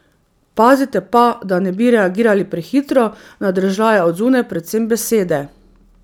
Pazite pa, da ne bi reagirali prehitro na dražljaje od zunaj, predvsem besede.